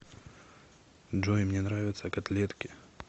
джой мне нравятся котлетки